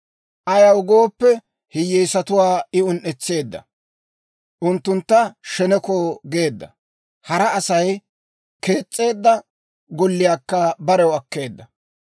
Ayaw gooppe, hiyyeesatuwaa I un"etseedda; unttuntta sheneko geedda; hara Asay kees's'eedda golliyaakka barew akkeedda.